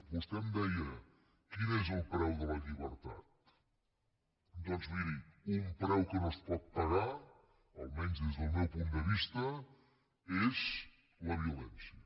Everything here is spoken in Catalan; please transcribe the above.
vostè em deia quin és el preu de la llibertat doncs miri un preu que no es pot pagar almenys des del meu punt de vista és la violència